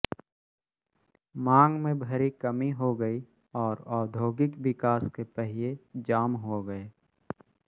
मांग में भारी कमी हो गई और औद्योगिक विकास के पहिये जाम हो गए